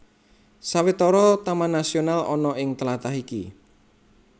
Sawetara taman nasional ana ing tlatah iki